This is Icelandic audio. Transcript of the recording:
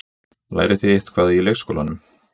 Lærið þið eitthvað í leikskólanum?